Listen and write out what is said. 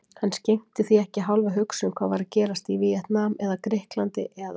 Hann skenkti því ekki hálfa hugsun hvað var að gerast í Víetnam eða Grikklandi eða